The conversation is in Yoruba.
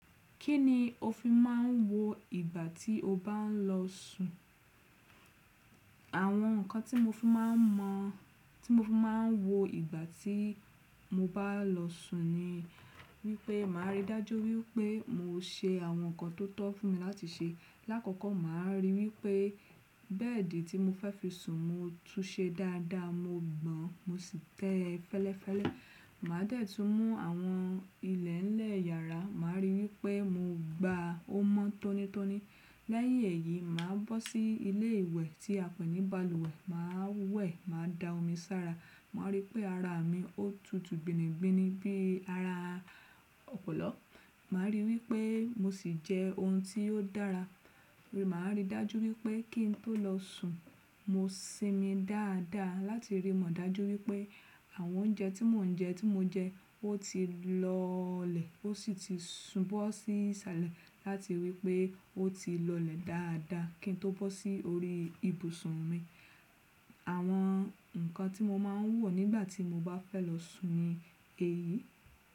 Kí ni o fi máà ń wo ìgbà tí o bá ń lọ sùn? Àwọn ǹkan tí mo fi máà ń mọ, tí mo fi máà ń wo ìgbà tí mo bá lọ sùn ni wípé màá rí dájú wípé mo ṣe àwọn ǹkan tó tọ́ fún mi láti ṣe. Làkọ́kọ́ màá rí wípé bẹ́ẹ̀dì tí mo fẹ́ fi sùn mo túnṣe dáadáa, mo gbọ̀n mo sì tẹ́ ẹ fẹ́lẹ́fẹ́lẹ́. Màá dẹ̀ tún mú àwọn ilẹ̀ ńlẹ̀ yàrá, màá rí wípé mo gba o mọ tónítóní. Lẹ́yìn èyí, màá bọ́ sí ilé ìwẹ̀ tí a pè ní balùwẹ̀, màá wẹ̀ màá da omi sára. Màá rí pé ara mi ó tutu gbinigbinibi bí ara ọ̀pọ̀lọ́. Màá rí wípé mo sì jẹ ohun tí ò dára. Màá rí dájú wípé kí ń tó lọ sùn, mo sinmi dáadáa láti rí mọ̀ dájú wípé àwọn oúnjẹ tí mò ń jẹ tí mo jẹ ó ti lọlẹ̀ ó sì ti sùn bọ́ sí sàlẹ̀ láti wípé ó ti lọlẹ̀ dáadáa kí n tó bọ́ sí orí ibùsùn mi. Àwọn nkan tí mo máa ń wò nígbà tí mo bá fẹ́ lọ sùn ni èyí.